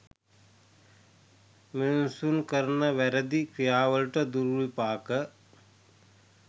මිනිසුන් කරන වැරැදි ක්‍රියාවලට දුර්විපාක